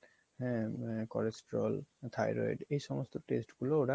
হ্যা cholesterol, thyroid এই সমস্ত test গুলো ওরা